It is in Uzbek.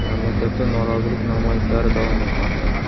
Mamlakatda norozilik namoyishlari davom etmoqda.